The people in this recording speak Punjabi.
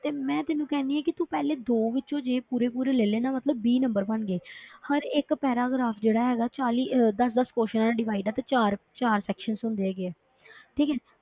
ਤੇ ਮੈਂ ਤੈਨੂੰ ਕਹਿੰਦੀ ਹਾਂ ਕਿ ਤੂੰ ਪਹਿਲੇ ਦੋ ਵਿੱਚੋਂ ਜੇ ਪੂਰੇ ਪੂਰੇ ਲੈ ਲਏ ਨਾ ਮਤਲਬ ਵੀਹ number ਬਣ ਗਏ ਹਰ ਇੱਕ paragraph ਜਿਹੜਾ ਹੈਗਾ ਚਾਲੀ ਅਹ ਦਸ ਦਸ questions 'ਚ divide ਆ ਤੇ ਚਾਰ ਚਾਰ sections ਹੁੰਦੇ ਹੈਗੇ ਆ ਠੀਕ ਹੈ